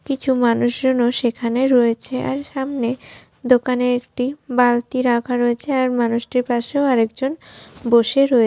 কিছু মানুষ সেখানে রয়েছে আর সামনে দোকানে একটি বালতি রাখা রয়েছে আর মানুষটির পাশেও আরেকজন বসে রয়ে --